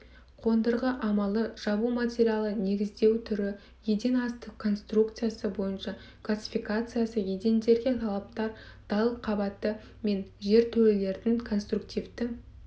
қондырғы амалы жабу материалы негіздеу түрі еден асты конструкциясы бойынша классификациясы едендерге талаптар далқабаты мен жертөлелердің конструктивті